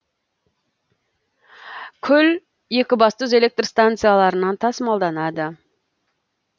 күл екібастұз электр станцияларынан тасымалданады